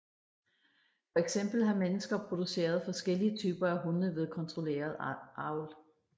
For eksempel har mennesker produceret forskellige typer af hunde ved kontrolleret avl